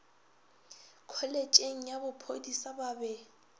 kholetšheng ya bophodisa ba be